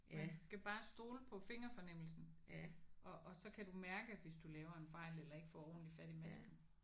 Man skal bare stole på fingerfornemmelsen og og så kan du mærke hvis du laver en fejl eller ikke får ordentligt fat i masken